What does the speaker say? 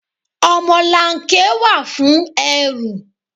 Ọmọlanke wà fún ẹrù.